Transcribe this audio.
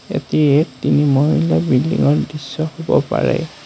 এটি তিনি মহলীয়া বিল্ডিংৰ দৃশ্য হ'ব পাৰে।